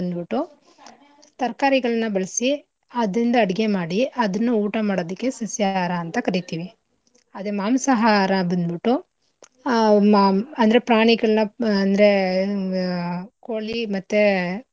ಬಂದ್ಬುಟ್ಟು ತರ್ಕಾರಿಗಳ್ನ ಬಳಸಿ ಅದ್ರಿಂದ ಅಡ್ಗೆ ಮಾಡಿ ಅದನ್ನ ಊಟ ಮಾಡದಕ್ಕೆ ಸಸ್ಯಾಹಾರ ಅಂತ ಕರಿತಿವಿ, ಅದೇ ಮಾಂಸಾಹರ ಬಂದ್ಬುಟ್ಟು ಆಹ್ ಮ ಅಂದ್ರೆ ಪ್ರಾಣಿಗಳ್ಣಾ ಮಾ ಅಂದ್ರೆ ಆಹ್ ಕೋಳಿ ಮತ್ತೇ.